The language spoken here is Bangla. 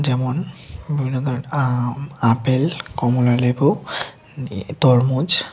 এমন বিভিন্ন ধরনের আম আপেল কমলালেবু তরমুজ।